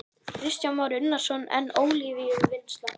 Kristján Már Unnarsson: En olíuvinnsla?